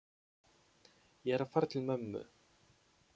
Ég er að fara til mömmu.